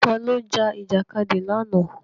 Ta ló jà Ìjàkadì lánàá?